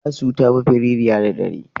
Asu ta fi firiya da dare.